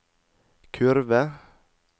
kurve